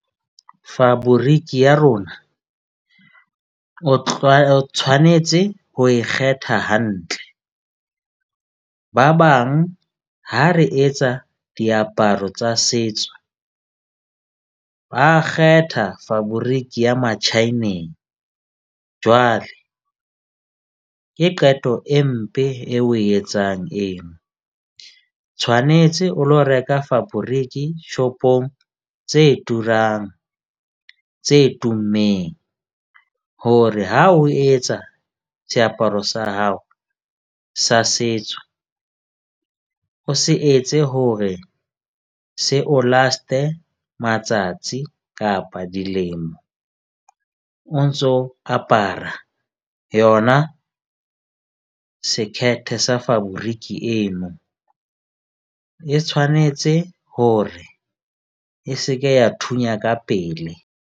Faboriki ya rona o o tshwanetse ho e kgetha hantle. Ba bang ha re etsa diaparo tsa setso, ba kgetha faboriki ya metjhaeneng. Jwale ke qeto e mpe e o e etsang eno. Tshwanetse o lo reka faboriki shop-ong tse turang tse tummeng hore ha o etsa seaparo sa hao sa setso, o se etse hore se o last-e matsatsi kapa dilemo o ntso apara yona, sekhete sa faboriki eno e tshwanetse hore e seke ya thunya ka pele.